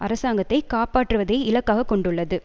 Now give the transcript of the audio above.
அரசாங்கத்தை காப்பாற்றுவதை இலக்காக கொண்டுள்ளது